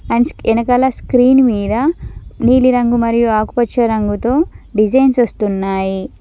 And ఎనకాల screen మీద నీలిరంగు మరియు ఆకుపచ్చ రంగుతో డిజైన్స్ వొస్తున్నాయి.